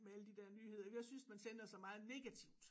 Med alle de der nyheder jeg synes man sender så meget negativt